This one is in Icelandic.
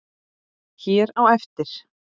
hér á eftir.